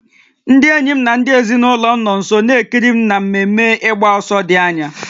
Ndị enyi m na ndị ezinụlọ m nọ nso na-ekiri m na mmemme ịgba ọsọ dị anya